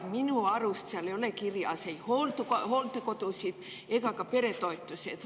Minu arust ei ole seal midagi kirjas ei hooldekodude ega ka peretoetuste kohta.